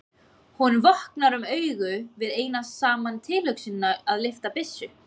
Honum vöknar um augu við eina saman tilhugsunina um að lyfta byssu.